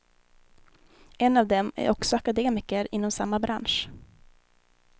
En av dem är också akademiker inom samma bransch.